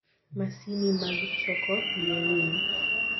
Masini mag choko yie winy